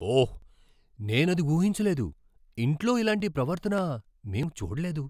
ఓహ్, నేనది ఊహించలేదు. ఇంట్లో ఇలాంటి ప్రవర్తన మేము చూడలేదు.